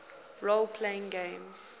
role playing games